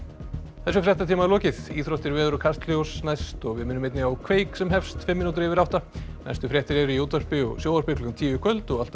þessum fréttatíma er lokið íþróttir veður og Kastljós næst og við minnum einnig á kveik sem hefst fimm mínútur yfir átta næstu fréttir eru í útvarpi og sjónvarpi klukkan tíu í kvöld og alltaf á